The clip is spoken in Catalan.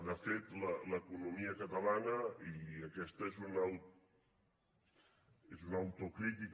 de fet l’economia catalana i aquesta és una autocrítica